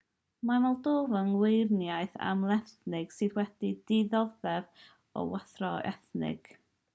mae moldofa yn weriniaeth amlethnig sydd wedi dioddef o wrthdaro ethnig